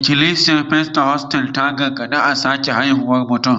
Ikilisiyar Pentikostal tana gargaɗin a sake haifuwar mutum